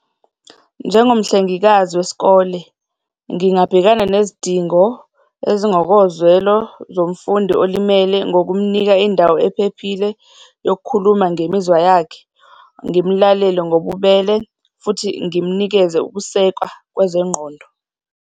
Njengomhlengikazi wesikole, ngingabhekana nezidingo ezingokozwelo zomfundi olimele ngokumnika indawo ephephile yokukhuluma ngemizwa yakhe, ngimlalele ngobubele futhi ngimnikeze ukusekwa kwezengqondo.